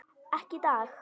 Ekki í dag.